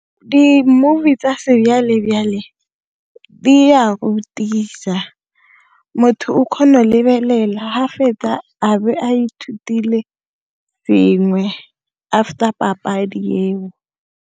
Di-movie tsa di a rutisa motho o kgona lebelela ha fetsa a bo a ithutile sengwe after papadi eo.